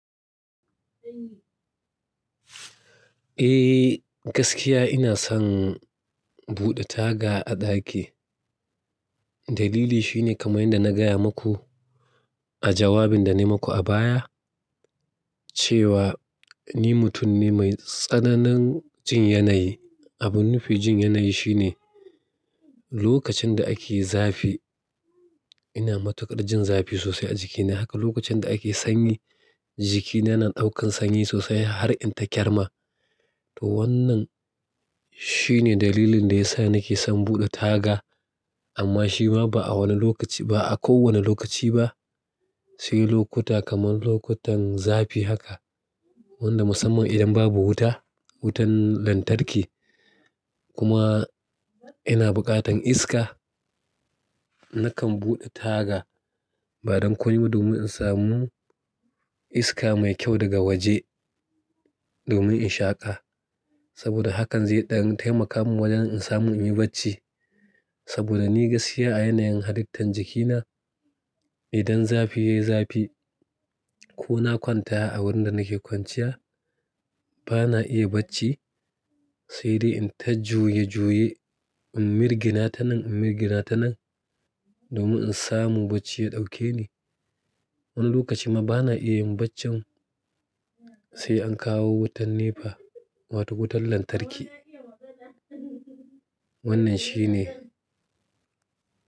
Eh, gaskiya ina son buɗe taga a ɗaki. Dalili shi ne kamar yadda na gaya maku a jawabin da nayi maku a baya cewa ni mutum ne mai tsananin jin yanayi. Abun nufi jin yanayi shi ne lokacin da ake zafi ina matuƙar jin zafi sosai a jikina. Akwai lokacin da ake sanyi, jikina na ɗaukar sanyi sosai har in ta kyarma to wannan shi ne dalilin da ya sa nake son buɗe taga amma shi ma ba a wani lokaci ba a kowanne lokaci ba, sai lokuta kamar lokutan zafi haka wanda musamman idan babu wuta, wutan lantarki kuma ina buƙatan iska nakan buɗe taga ba dan komai ba domin in samu iska mai kyau daga waje domin in shaƙa. Saboda hakan zai ɗan taimaka mun wajen in samu in yi bacci. Saboda ni gaskiya a yanayin halittan jikina idan zafi yayi zafi ko na kwanta a wurin da nake kwanciya bana iya bacci sai dai in ta juye-juye, in mirgina ta nan, in mirgina ta nan domin in samu bacci ya ɗauke ni. Wani lokaci ma bana iya yin baccin sai an kawo wutan NEPA wato wutan lantarki. Wannan shi ne.